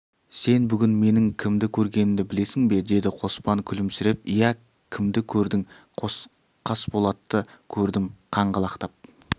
сен бүгін менің кімді көргенімді білесің бе деді қоспан күлімсіреп иә кімді көрдің қасболатты көрдім қаңғалақтап